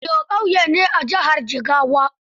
Auyo ƙauye ne a jihar Jigawa.